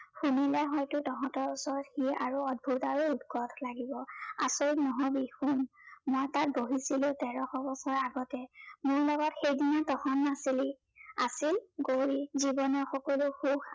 শুনিলে হয়তো তহঁতৰ ওচৰত সি আৰু অদ্ভূত আৰু উৎকট লাগিব। আচৰিত নহবি শুন, মই তাত বহিছিলো তেৰশ বছৰৰ আগতে, মোৰ লগত সেইদিনা তহঁত নাছিলি, আছিল গৌৰী। জীৱনৰ সকলো সুখ